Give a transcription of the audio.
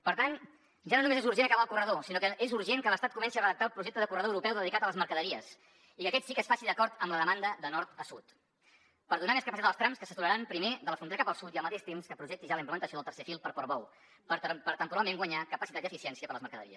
per tant ja no només és urgent acabar el corredor sinó que és urgent que l’estat comenci a redactar el projecte de corredor europeu dedicat a les mercaderies i que aquest sí que es faci d’acord amb la demanda de nord a sud per donar més capacitat als trams que s’aturaran primer de la frontera cap al sud i al mateix temps que projecti ja la implementació del tercer fil per portbou per a temporalment guanyar capacitat i eficiència per les mercaderies